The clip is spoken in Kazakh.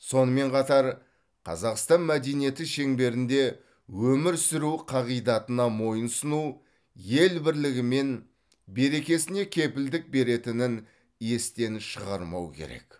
сонымен қатар қазақстан мәдениеті шеңберінде өмір сүру қағидатына мойынсұну ел бірлігі мен берекесіне кепілдік беретінін естен шығармау керек